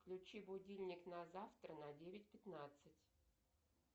включи будильник на завтра на девять пятнадцать